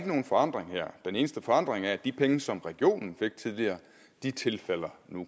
nogen forandring her den eneste forandring er at de penge som regionen fik tidligere nu tilfalder